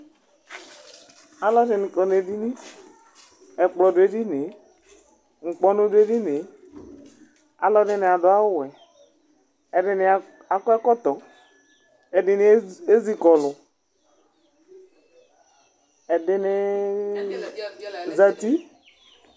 Alu di ni kɔ nu edini, ɛkplɔ du edinie, ŋkpɔnu du edinie, alu ɛdini adu awu wɛ, ɛdini akɔ ɛkɔtɔ, ɛdini ezikɔlu , ɛdiniiiii zati